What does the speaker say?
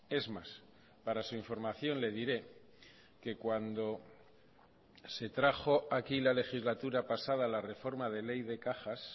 es más para su información le diré que cuando se trajo aquí la legislatura pasada la reforma de ley de cajas